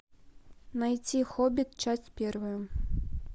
найти хоббит часть первая